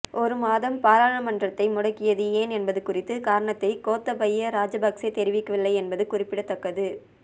ஒரு மாதம் பாராளுமன்றத்தை முடக்கியது ஏன் என்பது குறித்த காரணத்தை கோத்தபய ராஜபக்சே தெரிவிக்கவில்லை என்பது குறிப்பிடத்தக்கது